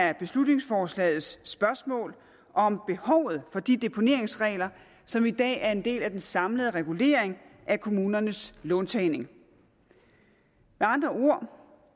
er beslutningsforslagets spørgsmål om behovet for de deponeringsregler som i dag er en del af den samlede regulering af kommunernes låntagning med andre ord